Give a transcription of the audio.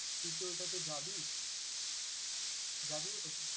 তুই কি ওইটাতে যাবি? যাবি ওইটাতে?